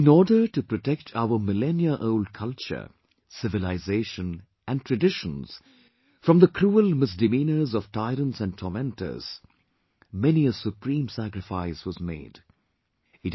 In order to protect our millennia old culture, civilization and traditions from the cruel misdemeanors of tyrants & tormentors many a supreme sacrifice was made......